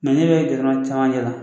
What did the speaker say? ne yɛrɛ jɛɲɔɔn caman yera